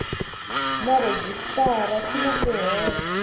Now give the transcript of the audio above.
na rhejisitara swi na swihoxo